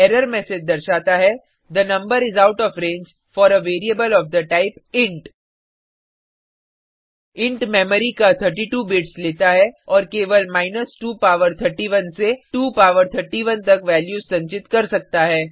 error message दर्शाता हैthe number is out of range for a variable of the type int int memory का 32 bits लेता है और केवल 2 पावर 31 से 2 पावर 31 तक वैल्यूज संचित कर सकता है